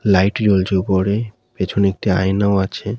Light রয়েছে উপরে পিছনে একটি আয়নাও আছে।